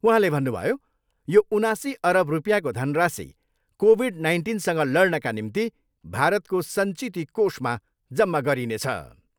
उहाँले भन्नुभयो, यो उनासी अरब रुपियाँको धनराशि कोभिड नाइन्टिनसँग लड्नका निम्ति भारतको सञ्चिति कोषमा जम्मा गरिनेछ।